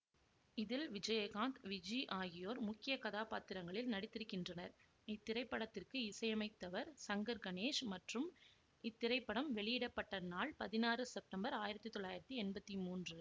இதில் விஜயகாந்த் விஜி ஆகியோர் முக்கிய கதாபாத்திரங்களில் நடித்திருக்கின்றனர் இத்திரைப்படத்திற்கு இசையமைத்தவர் சங்கர் கணேஷ் மற்றும் இத்திரைப்படம் வெளியிட பட்ட நாள் பதினாறு செப்டம்பர் ஆயிரத்தி தொள்ளாயிரத்தி எம்பத்தி மூன்று